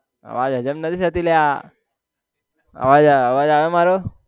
આ વાત હજમ નથી અલા આવાજ આવાજ આવે મારો